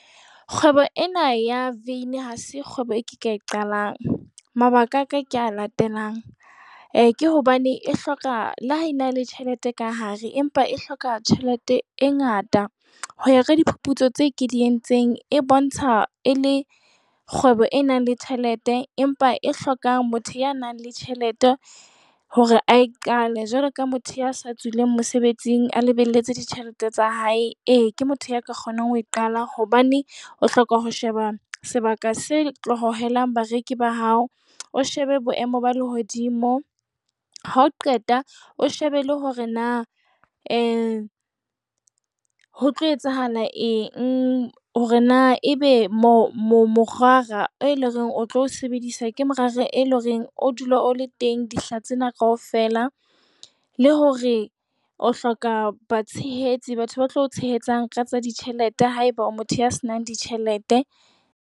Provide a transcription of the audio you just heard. Kgwebo ena ya veine ha se kgwebo eo ke ka e qalang. Mabaka a ka ke a latelang - ke hobane e hloka, le ha e na le tjhelete ka hare, empa e hloka tjhelete e ngata. Ho ya ka diphuputso tseo ke di entseng, e bontsha e le kgwebo e nang le tjhelete, empa e hlokang motho ya nang le tjhelete hore a e qale, jwalo ka motho ya sa tswile mosebetsing a lebelletse ditjhelete tsa hae. Ee, ke motho ya ka kgonang ho e qala. Hobane o hloka ho sheba sebaka se tlo hohelang bareki ba hao, o shebe boemo ba lehodimo, ha o qeta o shebe le hore na ho tlo etsahala eng, hore na ebe morara e lo reng o tlo o sebedisa ke morara e lo reng o dula o le teng dihla tsena kaofela, le hore o hloka batshehetsi batho ba tla ho o tshehetsa ka tsa ditjhelete haeba o motho ya senang tjhelete.